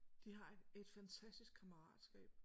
De har et et fantastisk kammeratskab